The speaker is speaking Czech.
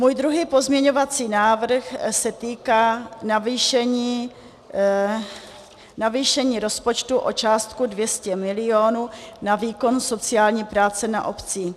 Můj druhý pozměňovací návrh se týká navýšení rozpočtu o částku 200 milionů na výkon sociální práce na obcích.